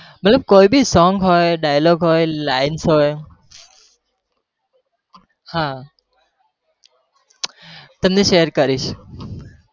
મતલબ કોઈ भीsong હોય dialogue હોય lines હોય, હા તમને share કરીશ.